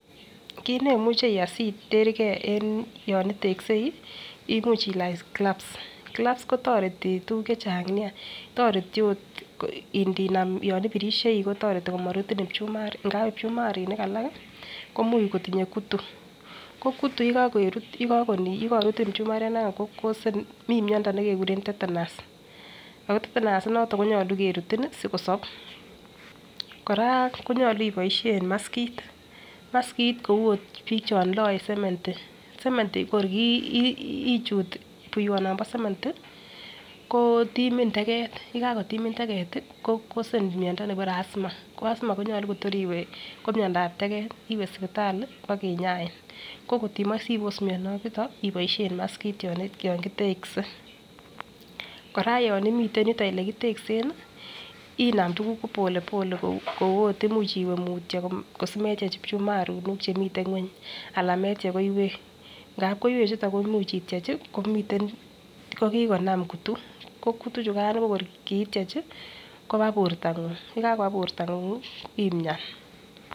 Kit neimuche iyai sitergee yon itekseu imuch ilach kilaps ,kilaps kotoreti tukuk chechang nia, toreti ot ndinam yon ipirishei kotoreti amorutin pchumaruk ngap ipchumaruk alak komuch kotindo kutu, ko kutu yekorutin pchumariat Nia ko cousen mii miondo nekekurem tetenus ko tetenus inoton koyoche kerutin sikosob. Koraa konyolu iboishen maskit maskit kou ot bik chon loe semendi ,semendi kor kiiichut buwonombo sementi ko timin teket yekakotimin teket ko kosen miondo nekibore Asma ko Asma konyolu Kotor iwee ko miondap teket iwee sipitali bokinyain ko kotimoi sipos mioniton iboishen maskit yon kiteksen. Koraa yon imiten olekiteksen nii inam tukuk polepole kou ot imuch iwee mutyo kosimetyech phumarinik chemiten ngweny alan metyevh koiwek ngap koiwek chuton ko imuch ityech komiten ko kokon kutu ko kutu chukan ko kor kityechi koba bortangung yekakoba bortangung imiani.